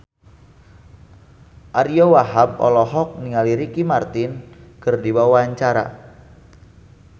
Ariyo Wahab olohok ningali Ricky Martin keur diwawancara